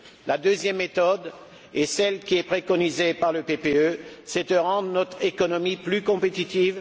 La deuxième méthode, celle qui est préconisée par le PPE, c'est de rendre notre économie plus compétitive.